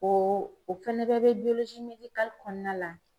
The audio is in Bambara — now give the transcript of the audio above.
O o fɛnɛ bɛɛ bɛ kɔnɔna la